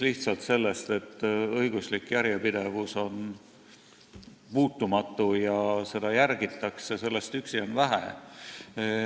Lihtsalt kinnitusest, et õiguslik järjepidevus on muutumatu ja seda järgitakse, on vähe.